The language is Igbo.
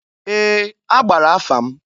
Ee! A gbara afa m.